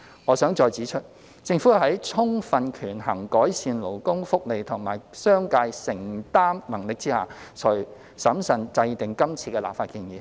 我想再指出，政府是在充分權衡改善勞工福利及商界承擔能力下，才審慎制定今次的立法建議。